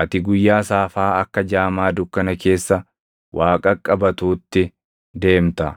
Ati guyyaa saafaa akka jaamaa dukkana keessa waa qaqqabatuutti deemta;